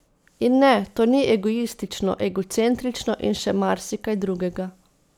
In ne, to ni egoistično, egocentrično in še marsikaj drugega.